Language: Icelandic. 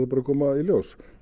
bara að koma í ljós